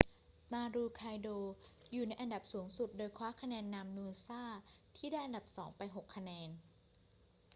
maroochydore อยู่ในอันดับสูงสุด โดยคว้าคะแนนนำ noosa ที่ได้อันดับสองไป 6 คะแนน